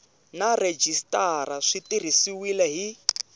na rhejisitara swi tirhisiwile hi